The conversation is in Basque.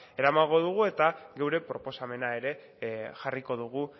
eramango dugu eta gure proposamena ere jarriko dugu